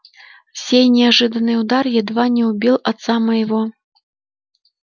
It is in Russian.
сей неожиданный удар едва не убил отца моего